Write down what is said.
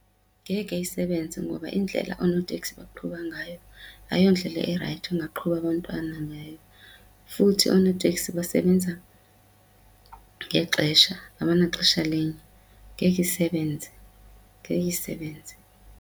Ngeke isebenze ngoba indlela oonoteksi baqhuba ngayo ayiyondlela erayithi ongaqhuba abantwana ngayo futhi oonoteksi basebenza ngexesha abanaxesha linye. Ngeke isebenze, ngeke isebenze.